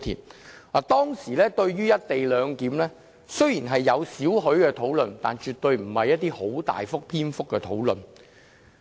雖然當時對"一地兩檢"有少許討論，但絕對不是很大篇幅的討論。